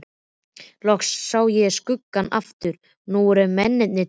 Loks sá ég skuggann aftur og nú voru mennirnir tveir.